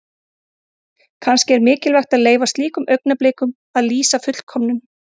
Kannski er mikilvægt að leyfa slíkum augnablikum að lýsa fullkomnun.